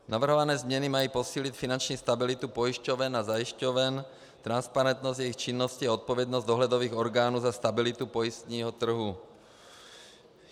Navrhované změny mají posílit finanční stabilitu pojišťoven a zajišťoven, transparentnost jejich činnosti a odpovědnost dohledových orgánů za stabilitu pojistného trhu.